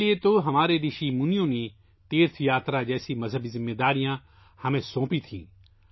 اسی لیے ہمارے رشیوں منیوں نے تیرتھ یاترا جیسی مذہبی ذمہ داریاں ہمیں سونپی تھیں